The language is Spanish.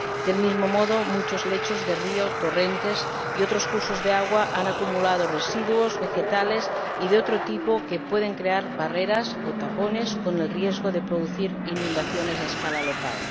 Del mismo modo, muchos lechos de río, torrentes y otros cursos de agua han acumulado residuos vegetales y de otro tipo que pueden crear barreras o tapones con el riesgo de producir inundaciones a escala local.